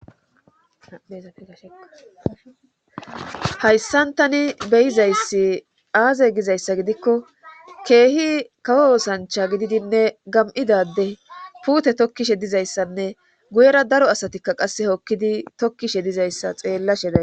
shayssantani beyizayssi aaze gizayssa gidikko keehi kawo oosancha gididinne gam7idade puute tokkishe dizayssanne guyera daro asatikka qasse hokkidi tokkishe dizayssa xeellasheda